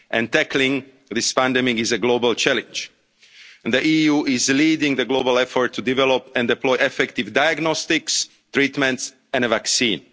no borders. Tackling this pandemic is a global challenge and the EU is leading the global effort to develop and deploy effective diagnostics, treatments